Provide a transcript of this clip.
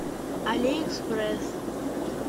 алиэкспресс